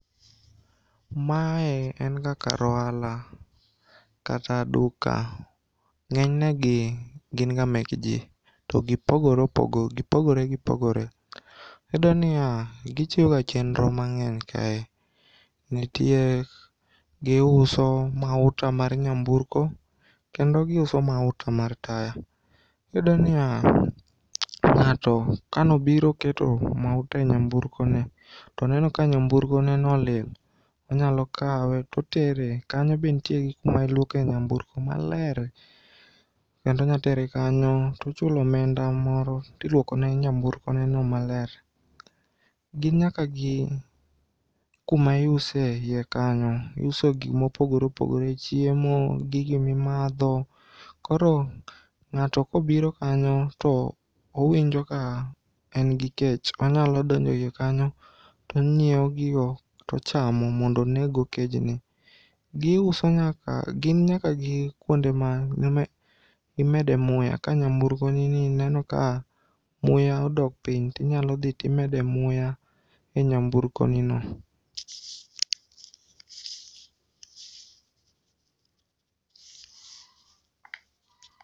Mae enga kar ohala kata duka.Ng'enynegi ginga mek jii to gipogore gipogore. Iyudoniya gichiwoga chenro mang'eny kae. Nitie, giuso mauta mar nyamburko kendo giuso mauta mar taya. Iyudoniya ng'ato kanobiro keto mauta e nyamburkone toneno ka nyamburkoneno olil, onyalokawe totere, kanyo be ntie gi kamailuoke nyamburko maler kendo nyatere kanyo tochulo omenda moro tiluokone nyamburko neno maler. Gin nyaka gi kuma iuse eiye kanyo. Iuso gik mopogore opogore chiemo, gigo mimadho koro ng'ato kobiro kanyo to owinjo ka engi kech, onyalo donjo iye kanyo tonyieo gigo tochamo mondo oneggo kejni. Giuso nyaka, gin nyaka gi kuonde ma imede muya ka nyamburkonini ineno ka muya odok piny, tinyalodhi timede muya e nyamburkonino.